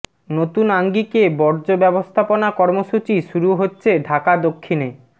নতুন আঙ্গিকে বর্জ্য ব্যবস্থাপনা কর্মসূচি শুরু হচ্ছে ঢাকা দক্ষিণে